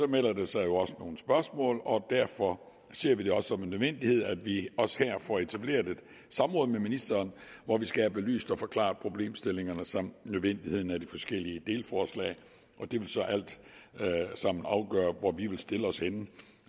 melder der sig jo også nogle spørgsmål og derfor ser vi det også som en nødvendighed at vi også her får etableret et samråd med ministeren hvor vi skal have belyst og forklaret problemstillingerne samt nødvendigheden af de forskellige delforslag det vil så alt sammen afgøre hvor vi vil stille os henne